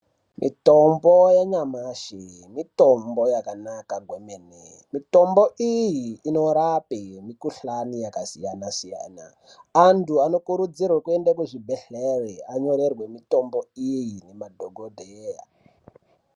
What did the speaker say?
Mitombo yanyamashi mitombo yakanaka kwemene mitombo iyi inorape mikuhlani yakasiyana siyana antu anokurudzirwa kuenda kuzvibhedhlera anyorerwe mitombo iyi nemadhokodheya.